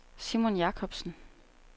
Simon Jakobsen